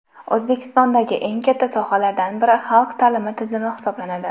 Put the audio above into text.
O‘zbekistondagi eng katta sohalardan biri xalq ta’limi tizimi hisoblanadi.